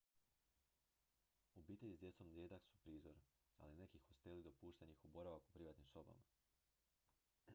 obitelji s djecom rijedak su prizor ali neki hosteli dopuštaju njihov boravak u privatnim sobama